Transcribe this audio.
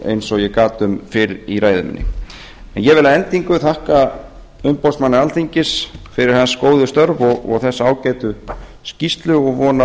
eins og ég gat um fyrr í ræðu minni ég vil að endingu þakka umboðsmanni alþingis fyrir hans góðu störf og þessa ágætu skýrslu og vona að